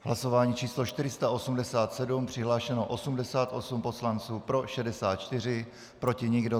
Hlasování číslo 487, přihlášeno 88 poslanců, pro 64, proti nikdo.